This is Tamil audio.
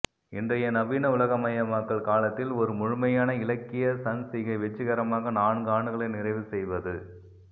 இன்றைய நவீன உலகமயமாக்கல் காலத்தில் ஒரு முழுமையான இலக்கிய சஞ்சிகை வெற்றிகரமாக நான்கு ஆண்டுகளை நிறைவு செய்வது